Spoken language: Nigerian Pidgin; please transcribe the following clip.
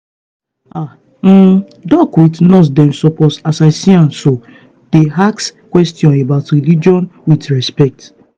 ah um doc with nurse dem suppose as i see am so dey ask questions about religion with respect.